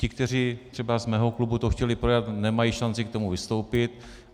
Ti, kteří třeba z mého klubu to chtěli projednat, nemají šanci k tomu vystoupit.